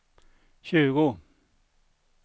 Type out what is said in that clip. tjugo